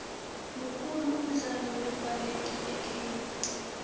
mukhulu umdlalo wembaleki ekhenya